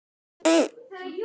Ég var að undirbúa mig.